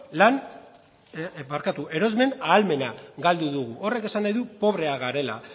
erosmen ahalmena galdu dugu horrek esan nahi du pobreak garela